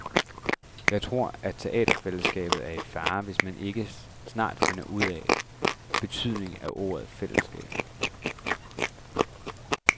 Jeg tror, at teaterfællesskabet er i fare, hvis ikke man snart finder ud af betydningen af ordet fællesskab.